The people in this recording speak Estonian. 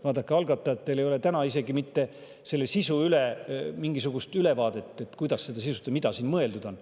Vaadake, algatajatel ei ole mitte mingisugust ülevaadet, kuidas sisustada seda, mida siin mõeldud on.